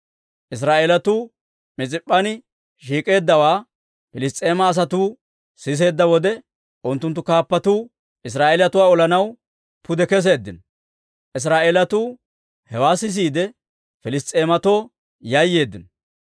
Israa'eelatuu Mis'ip'p'an shiik'eeddawaa Piliss's'eema asatuu siseedda wode, unttunttu kaappatuu Israa'eelatuwaa olanaw pude keseeddino. Israa'eelatuu hewaa sisiide, Piliss's'eematoo yayyeeddino.